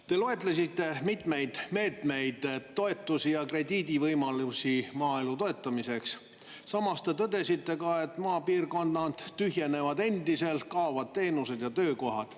Te loetlesite mitmeid meetmeid, toetusi ja krediidivõimalusi maaelu toetamiseks, samas te tõdesite ka, et maapiirkonnad tühjenevad endiselt, kaovad teenused ja töökohad.